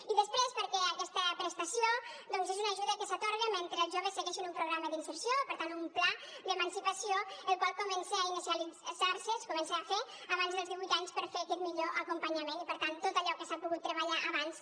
i després perquè aquesta prestació doncs és una ajuda que s’atorga mentre els joves segueixin un programa d’inserció per tant un pla d’emancipació el qual comença a inicialitzar se es comença a fer abans dels divuit anys per fer aquest millor acompanyament i per tant tot allò que s’ha pogut treballar abans